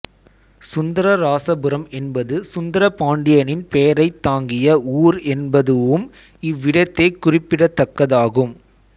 சுந்தரராசபுரம் என்பது சுந்தரபாண்டியனின் பெயரைத் தாங்கிய ஊர் என்பதுவும் இவ்விடத்தே குறிப்பிடத்தக்கதாகும்